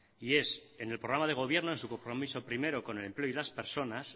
y es en el programa de gobierno en su compromiso primero con el empleo y las personas